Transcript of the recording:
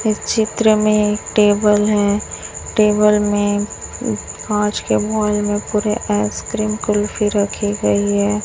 इस चित्र में टेबल है टेबल में कांच के बॉईल में पूरे आइसक्रीम कुल्फी रखे गई है।